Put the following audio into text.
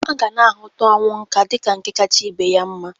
A gana ahụta ọnwụ nka dịka nke kacha ibe ya mma.